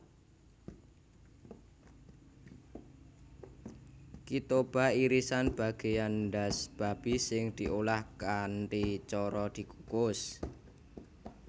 Kitoba irisan bagéyan ndhas babi sing diolah kanthi cara dikukus